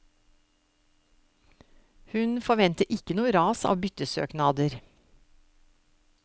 Hun forventer ikke noe ras av byttesøknader.